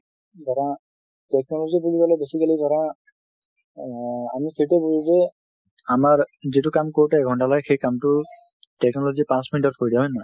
ধৰা technology বুলি কলে basically ধৰা এ আমি সেইটোৱে বুজো যে আমাৰ যিটো কাম কৰোতে এক ঘণ্টা লাগে, technology সেই কামটো পাচঁ minute অত কৰি দিয়ে, হয় নে নহয়?